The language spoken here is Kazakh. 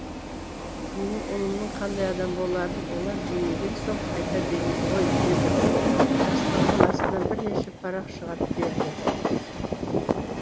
менің ұлымның қандай адам боларын олар білмеген соң айта береді ғой деді де жастығының астынан бірнеше парақ шығарып берді